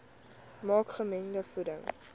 maak gemengde voeding